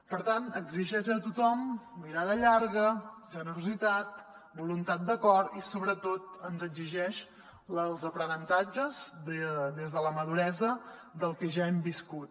per tant exigeix a tothom mirada llarga generositat voluntat d’acord i sobretot ens exigeix els aprenentatges des de la maduresa del que ja hem viscut